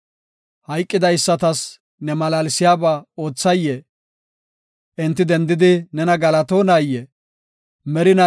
Hayqidaysatas ne malaalsiyaba oothayee? Enti dendidi nena galatonayee? Salaha